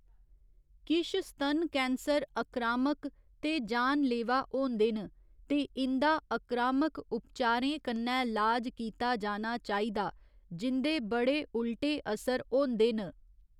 किश स्तन कैंसर अक्रामक ते जानलेवा होंदे न, ते इं'दा अक्रामक उपचारें कन्नै लाज कीता जाना चाहिदा जिं'दे बड़े उल्टे असर होंदे न।